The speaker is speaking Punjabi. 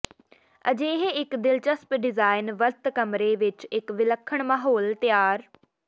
ਅਜਿਹੇ ਇੱਕ ਦਿਲਚਸਪ ਡਿਜ਼ਾਇਨ ਵਰਤ ਕਮਰੇ ਵਿੱਚ ਇੱਕ ਵਿਲੱਖਣ ਮਾਹੌਲ ਤਿਆਰ